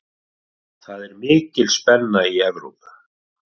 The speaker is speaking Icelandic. Það er mikil spenna í Evrópu.